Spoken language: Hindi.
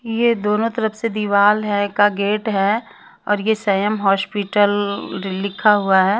ये दोनों तरफ से दीवाल है का गेट है और ये संयम हॉस्पिटल जो लिखा हुआ है।